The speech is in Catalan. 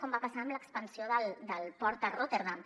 com va passar amb l’expansió del port de rotterdam